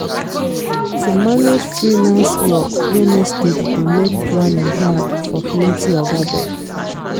to manage freelance work wey no steady dey make planning hard for plenty oga dem